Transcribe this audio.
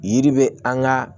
Yiri be an ga